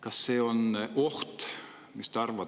Kas see on oht?